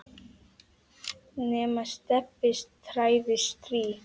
nema Stebbi træði strý.